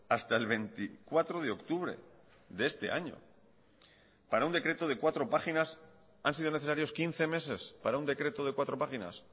hasta el veinticuatro de octubre de este año para un decreto de cuatro páginas han sido necesarios quince meses para un decreto de cuatro páginas